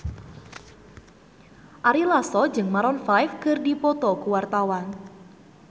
Ari Lasso jeung Maroon 5 keur dipoto ku wartawan